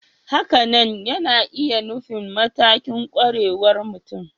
Hakanan yana iya nufin matakin ƙwarewar mutum